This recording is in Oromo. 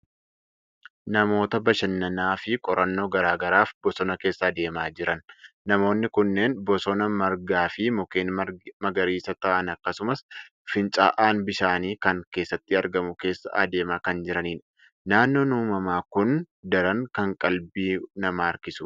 Namoota bashannanaa fi qorannoo garaa garaaf bosona keessa adeemaa jiran. Namoonni kunneen, bosona margaa fi mukeen magariisa ta'an akkasumas fincaa'aan bishaanii kan keessatti argamu keessa adeemaa kan jiranidha. Naannoon uumamaa kun daran kan qalbii namaa harkisudha.